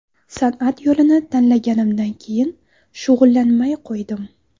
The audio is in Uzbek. San’at yo‘lini tanlaganimdan keyin shug‘ullanmay qo‘ydim.